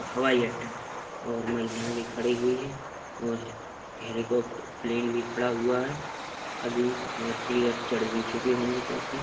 हवाई अड्डा और महिला भी खड़ी हुई है और हेलिकॉप्ट प्लेन भी खड़ा हुआ है अभी यात्रीगण चढ़ भी चुके होंगे काफी --